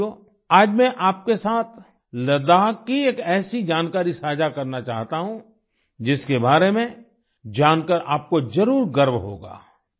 साथियो आज मैं आपके साथ लड़ख की एक ऐसी जानकारी साझा करना चाहता हूँ जिसके बारे में जानकर आपको जरुर गर्व होगा